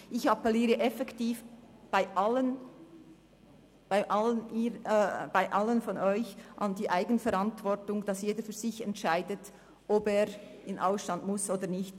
Ich appelliere effektiv bei Ihnen an die Eigenverantwortung, sodass jeder für sich entscheidet, ob er in den Ausstand treten muss oder nicht.